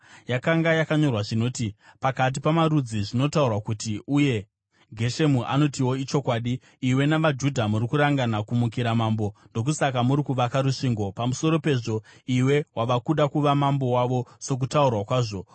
Yakanga yakanyorwa zvinoti: “Pakati pamarudzi zvinotaurwa kuti, uye Geshemu anotiwo ichokwadi, iwe navaJudha muri kurangana kumukira mambo, ndokusaka muri kuvaka rusvingo. Pamusoro pezvo, iwe wava kuda kuva mambo wavo sokutaurwa kwazvo.